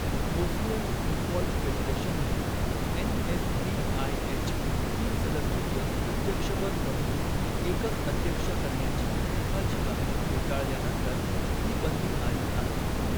Bosnian football फेडरेशनने NSBIH. तीन सदस्यीय अध्यक्षपद बदलून एकच अध्यक्ष करण्याची फिफाची मागणी फेटाळल्यानंतर ही बंदी आली आहे.